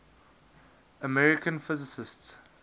american physicists